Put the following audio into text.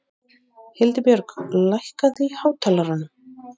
Hildibjörg, lækkaðu í hátalaranum.